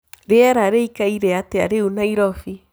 rĩera rĩĩkaĩre atĩa rĩũ naĩrobĩ